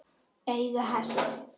Eiga hest.